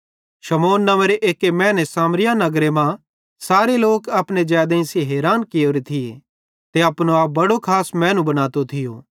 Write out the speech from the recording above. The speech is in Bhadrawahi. शमौन नव्वेंरे एक्की मैने सामरियारे नगर मां सारे लोक अपने जैदेइं सेइं हैरान कियोरे थिये ते अपने आपे बड्डो खास मैनू बनातो थियो